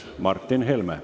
Martin Helme.